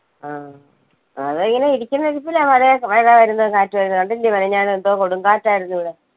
ആ അതെങ്ങനെ ഇരിക്കുന്ന ഇരിപ്പിലാ മഴേ മഴ വരുന്നത് കാറ്റ് വരുന്നത് കണ്ടില്ലേ മിനിനാന്ന് എന്തോ കൊടുങ്കാറ്റായിരുന്നു ഇവിടെ